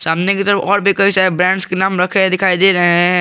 सामने की तरफ और भी कई सारे ब्रैंड्स के नाम रखें दिखाई दे रहे हैं।